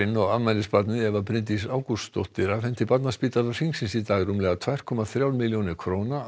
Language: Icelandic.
og afmælisbarnið Eva Bryndís Ágústsdóttir afhenti Barnaspítala Hringsins í dag rúmlega tvær komma þrjár milljónir króna á